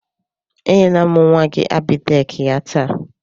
E nyela m nwa gị Abịdek ya taa.